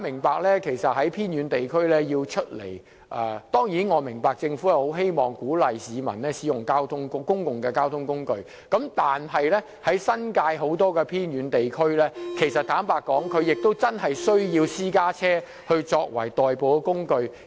市民要從偏遠地區前往市區，儘管政府鼓勵使用公共交通工具，但新界很多偏遠地區居民確實需要以私家車作代步。